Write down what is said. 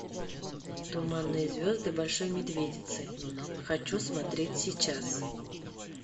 туманные звезды большой медведицы хочу смотреть сейчас